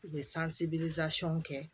U ye kɛ